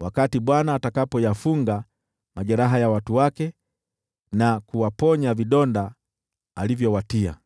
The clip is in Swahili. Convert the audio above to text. wakati Bwana atakapoyafunga majeraha ya watu wake na kuwaponya vidonda alivyowatia.